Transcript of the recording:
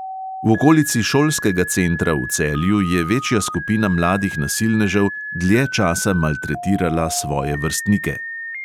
V okolici šolskega centra v celju je večja skupina mladih nasilnežev dlje časa maltretirala svoje vrstnike.